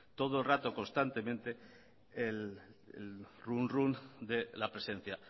todo el rato constantemente el runrún de la presencia